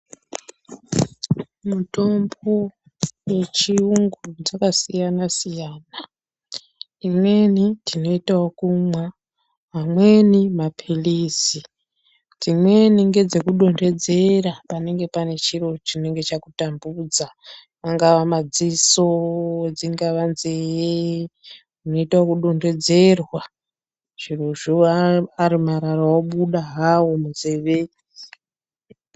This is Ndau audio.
Mitombo yechirungu dzakasiyana-siyana, imweni tinoyita okumwa, amweni mapilisi, dzimweni ngedzekudondedzera panenge pane chiro chinenge chakutambudza, angava madziso, dzingava nzeye, unoyita wokudondedzerwa zvirozvo, ari marara obuda hawo munzeve.